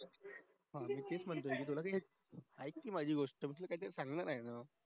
ऐक ना माझी गोष्ट तू काही तरी सांगणार आहे ना